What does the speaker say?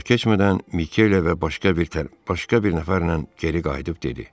Çox keçmədən Mikele və başqa bir, başqa bir nəfərlə geri qayıdıb dedi.